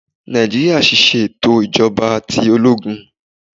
Naijiria ṣiṣẹ eto ijọba ti ologun